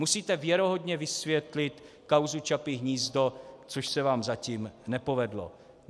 Musíte věrohodně vysvětlit kauzu Čapí hnízdo, což se vám zatím nepovedlo.